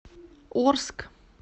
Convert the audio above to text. орск